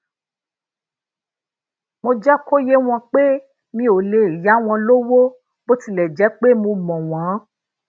mo jé kó yé wọn pé mi ò lè yá wọn lówó bó tilè jé pe mo mo won